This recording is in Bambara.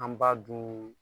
An ba dun